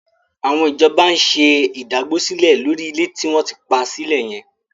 Àwọn ìjọba ń ṣe ìdágbósílẹ̀ lórí ilẹ̀ tí wọ́n ti pa sílẹ̀ yẹn.